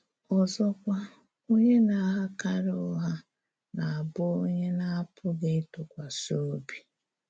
Ọzọkwa, onyé na-aghakarị ụgha na-abụ̀ onyé a na-apụghị̀ ịtụkwasị̀ obi.